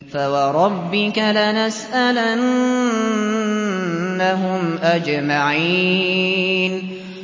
فَوَرَبِّكَ لَنَسْأَلَنَّهُمْ أَجْمَعِينَ